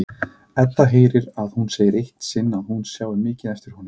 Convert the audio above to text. Edda heyrir að hún segir eitt sinn að hún sjái mikið eftir honum.